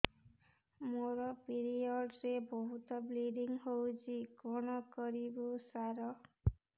ମୋର ପିରିଅଡ଼ ରେ ବହୁତ ବ୍ଲିଡ଼ିଙ୍ଗ ହଉଚି କଣ କରିବୁ ସାର